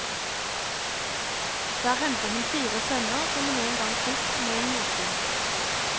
Der henter hun fire sønner som hun en gang fikk med en jotun.